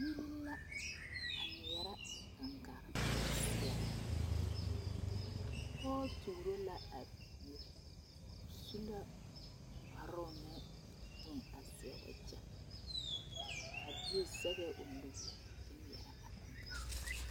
Biiri la a ŋmeɛrɛ gaŋgaa kyɛ seɛrɛ pɔge tuuro la a biiri o su la kparoo ne bone a seɛ wagyɛ a bie zeŋɛɛ o nu a ŋmeɛrɛ gaŋgaa.